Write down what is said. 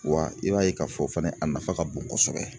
Wa i b'a ye k'a fɔ fana a nafa ka bon kosɛbɛ